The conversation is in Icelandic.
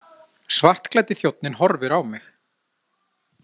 Svartklæddi þjónninn horfir á mig.